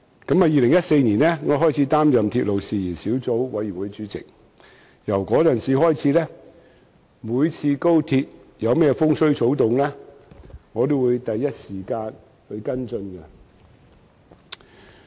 我自2014年起擔任鐵路事宜小組委員會主席，自此每當高鐵有何風吹草動，我也會第一時間跟進。